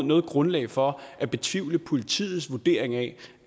noget grundlag for at betvivle politiets vurdering af